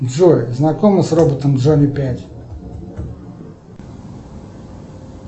джой знакома с роботом джонни пять